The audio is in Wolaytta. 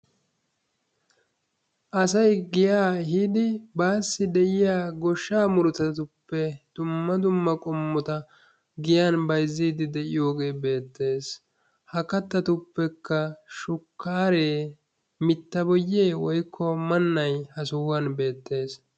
Asayi giyaa yiidi baassi de"iya goshshaa murutatuppe dumma dumma qommota giyan bayzziiddi de"iyogee beettes. Ha kattatuppekka shukkaaree mitta boyyee woykko mannayi ha sohuwan beettes.